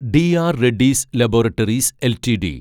DR Reddy's laboratories LTD